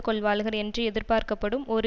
கொள்வாளுகள் என்று எதிர்பார்க்கப்படும் ஒரு